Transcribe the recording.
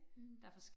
Mh